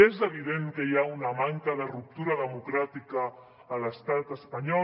és evident que hi ha una manca de ruptura democràtica a l’estat espanyol